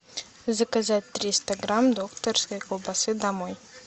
заказать триста грамм докторской колбасы домой